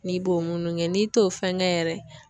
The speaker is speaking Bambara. N'i b'o munu kɛ n'i t'o fɛn kɛ yɛrɛ